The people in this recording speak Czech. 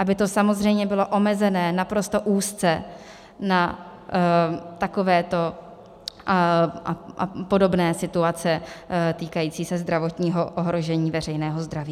Aby to samozřejmě bylo omezené naprosto úzce na takovéto a podobné situace týkající se zdravotního ohrožení veřejného zdraví.